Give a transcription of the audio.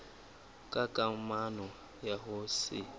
ka kamano ya ho se